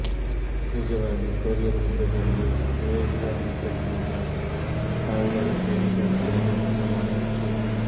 ನಿಜವಾಗಿ ಕೊರಿಯನ್ ಯುದ್ದದಲ್ಲಿ ವಿಯೆಟ್ನಾಮ್ ಯುದ್ದಕ್ಕಿಂತ ಸಾವುಗಳಸೈನಿಕರ ತ್ಯಾಗದ ಪ್ರಮಾಣ ಹೆಚ್ಚು